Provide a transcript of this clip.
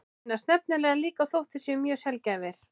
Þeir finnast nefnilega líka þótt þeir séu mjög sjaldgæfir.